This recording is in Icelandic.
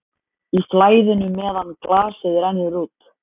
Í flæðinu meðan glasið rennur út